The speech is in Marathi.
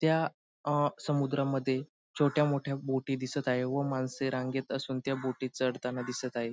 त्या अह समुद्रामध्ये छोट्या मोठ्या बोटी दिसत आहे व माणसे रांगेत असून त्या बोटीत चढताना दिसत आहे.